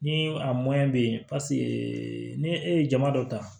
Ni a bɛ yen paseke ni e ye jama dɔ ta